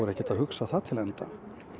ekkert að hugsa það til enda